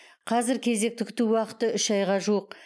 қазір кезекті күту уақыты үш айға жуық